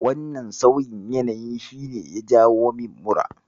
Wannan sauyin yanayin shi ne ya jawo min mura.